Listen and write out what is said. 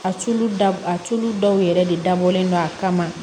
A tulu dabɔ a tulu dɔw yɛrɛ de dabɔlen don a kama